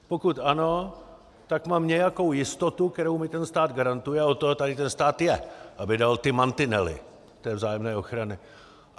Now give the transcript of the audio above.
Pokud ano, tak mám nějakou jistotu, kterou mi ten stát garantuje, a od toho tady ten stát je, aby dal ty mantinely té vzájemné ochrany.